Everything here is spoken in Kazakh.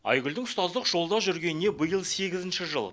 айгүлдің ұстаздық жолда жүргеніне биыл сегізінші жыл